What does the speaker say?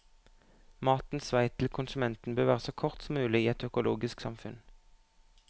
Matens vei til konsumenten bør være så kort som mulig i et økologisk samfunn.